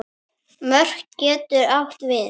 Mörk getur átt við